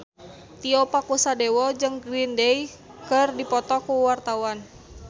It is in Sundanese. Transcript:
Tio Pakusadewo jeung Green Day keur dipoto ku wartawan